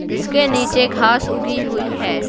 जिसके नीचे घास उगी हुई है।